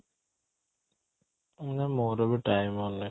ମୋର ବି time ହଉନି